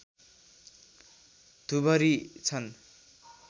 धुबरी छन्